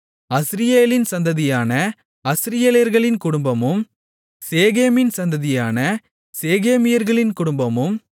அஸ்ரியேலின் சந்ததியான அஸ்ரியேலர்களின் குடும்பமும் சேகேமின் சந்ததியான சேகேமியர்களின் குடும்பமும்